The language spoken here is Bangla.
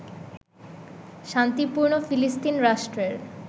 শান্তিপূর্ণ ফিলিস্তিন রাষ্ট্রের